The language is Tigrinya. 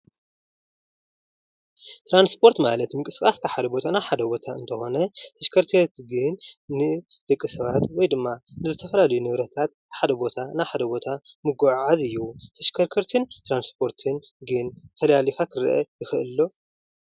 ትራንስፖርት ማለት ምንቅስቃስ ካብ ሐደ ቦታ ናብ ሓደ ቦታ እንተኮን ተሽከርከርቲ ንደቂ ሰባት ወይ ድማ ዝተፈላለዩ ንብረታት ካብ ሓደ ቦታ ናብ ካሊኣ ቦታ ምጉዕዓዝ እዩ። ተሽከርከርትን ትራንስፖርትን ግን ፈላሊካ ክረአ ይክእል ዶ?